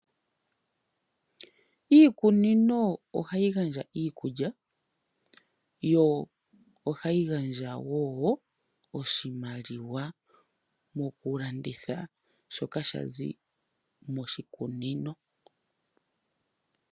Iikunino ogayi gandja iikulya yo ohayi gandja woo oshimaliwa mokulanditha shoka shazi moshikunino.